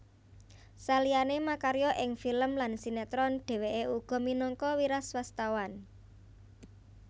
Saliyané makarya ing film lan sinétron dhèwèké uga minangka wiraswastawan